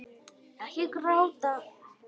Ekki gráta